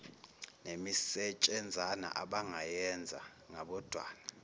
nemisetshenzana abangayenza ngabodwana